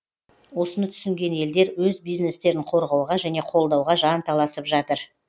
осыны түсінген елдер өз бизнестерін қорғауға және қолдауға жанталасып жатыр